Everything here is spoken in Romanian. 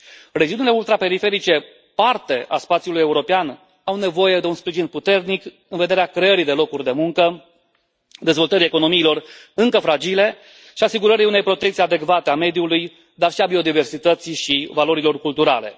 Regiunile ultraperiferice, parte a spațiului european, au nevoie de un sprijin puternic în vederea creării de locuri de muncă, dezvoltării economiilor încă fragile și asigurării unei protecții adecvate a mediului, dar și a biodiversității și a valorilor culturale.